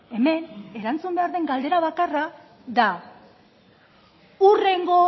hemen erantzun behar den galdera bakarra da hurrengo